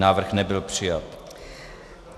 Návrh nebyl přijat.